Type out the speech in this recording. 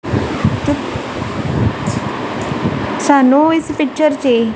ਸਾਨੂੰ ਇਸ ਪਿੱਚਰ 'ਚ ਇਹ--